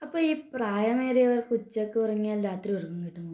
അപ്പൊ ഈ പ്രായമേറിയവർ ഉച്ചക്ക് ഉറങ്ങിയാൽ രാത്രി ഉറങ്ങാൻ കഴിയുമോ